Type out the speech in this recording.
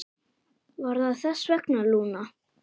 Var það þess vegna, Lúna?